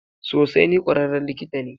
Sosai, ni kwararren likita ne.